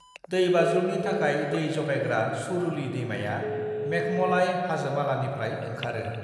दैबाज्रुमनि थाखाय दै जगायग्रा सुरुली दैमाया मेघमलाई हाजोमालानिफ्राय ओंखारो।